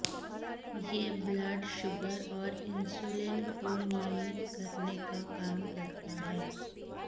यह blood sugar और insulin को नियमित करने का काम करता है